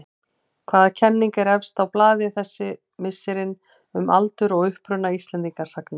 Hvaða kenning er efst á blaði þessi misserin um aldur og uppruna Íslendingasagna?